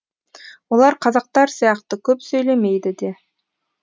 олар қазақтар сияқты көп сөйлемейді де